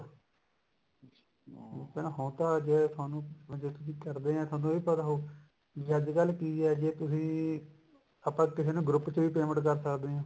ਠੀਕ ਹੈ ਹੁਣ ਤਾਂ ਜੇ ਤੁਹਾਨੂੰ ਤੁਹਾਨੂੰ ਇਹ ਪਤਾ ਹੋਊ ਵੀ ਅੱਜਕਲ ਕਿ ਐ ਜੇ ਤੁਸੀਂ ਆਪਾਂ group ਚ ਵੀ payment ਕਰ ਸਕਦੇ ਹਾਂ